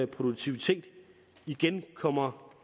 produktivitet igen kommer